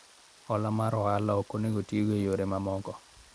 Hola mar ohala ok onego otigo e yore mamoko